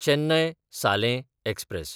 चेन्नय–सालें express